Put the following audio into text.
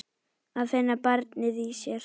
Að finna barnið í sér.